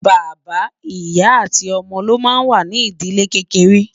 bàbá, ìyá àti ómó ló má ń wà nì ídìlé kékeré